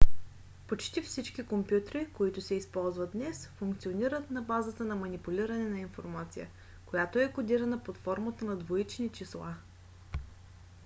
почти всички компютри които се използват днес функционират на базата на манипулиране на информация която е кодирана под формата на двоични числа